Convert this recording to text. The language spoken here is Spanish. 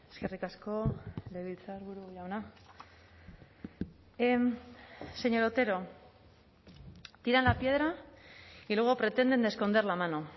eskerrik asko legebiltzarburu jauna señor otero tiran la piedra y luego pretenden esconder la mano